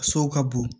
Sow ka bon